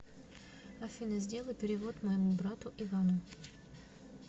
афина сделай перевод моему брату ивану